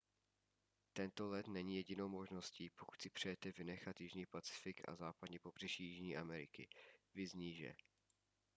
tento let není jedinou možností pokud si přejete vynechat jižní pacifik a západní pobřeží jižní ameriky. viz níže